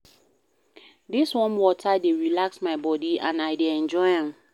Dis warm water dey relax my body and I dey enjoy am.